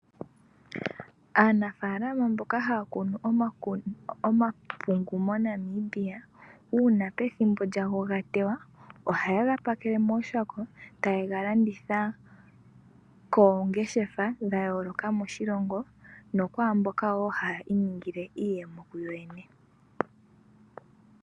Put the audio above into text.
Aanafalama mboka hakunu omapungu monamibia ,una pethimbo omapungu gawo ga tewa oha ye ga pakele mooshako taye kega landitha kongeshefa dha yoloka moshilongo nokwamboka wo haya iningile iiyemo kuyo yene.